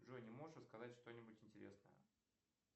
джой не можешь рассказать что нибудь интересное